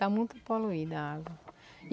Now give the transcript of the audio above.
Está muito poluída a água.